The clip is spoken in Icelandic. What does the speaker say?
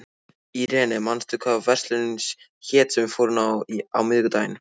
Irene, manstu hvað verslunin hét sem við fórum í á miðvikudaginn?